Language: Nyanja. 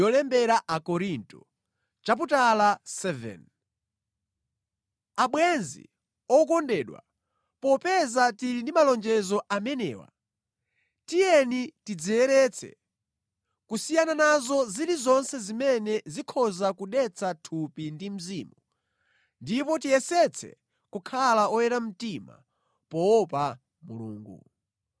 Abwenzi okondedwa, popeza tili ndi malonjezo amenewa, tiyeni tidziyeretse, kusiyana nazo zilizonse zimene zikhoza kudetsa thupi ndi mzimu, ndipo tiyesetse kukhala oyera mtima poopa Mulungu.